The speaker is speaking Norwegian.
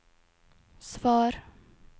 svar